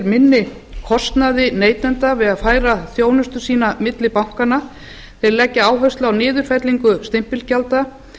minni kostnaði neytenda við að færa þjónustu sína milli bankanna þeir leggja áherslu á niðurfellingu stimpilgjalda